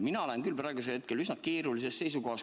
Mina olen küll praegusel hetkel üsna keerulises olukorras.